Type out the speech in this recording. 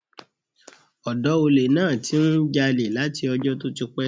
Ọ̀dọ́ olè náà ti ń jalè láti ọjọ́ tó ti pẹ́.